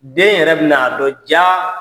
Den yɛrɛ bɛ na dɔ ja